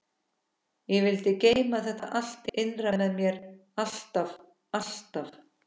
Ég vildi geyma þetta allt innra með mér alltaf alltaf.